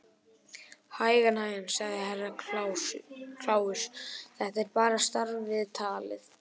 Hægan, hægan, sagði Herra Kláus, þetta er bara starfsviðtalið.